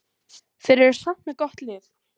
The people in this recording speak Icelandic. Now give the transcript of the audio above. Þeir eru samt með gott lið.